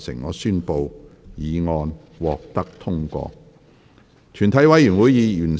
我宣布議案獲得通過。